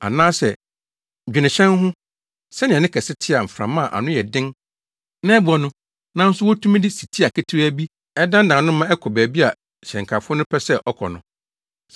Anaasɛ dwene hyɛn ho; sɛnea ne kɛse te a mframa a ano yɛ den na ɛbɔ no, nanso wotumi de sitia ketewaa bi na ɛdannan no ma ɛkɔ baabi a hyɛnkafo no pɛ sɛ ɛkɔ no.